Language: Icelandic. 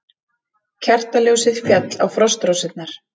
Kertaljósið féll á frostrósirnar.